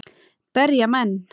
Berja menn?